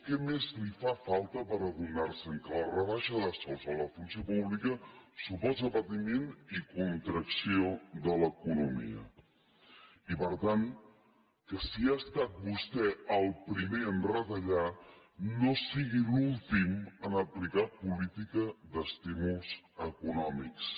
què més li fa falta per adonar se que la rebaixa de sous a la funció pública suposa patiment i contracció de l’economia i per tant que si ha estat vostè el primer a retallar no sigui l’últim a aplicar política d’estímuls econòmics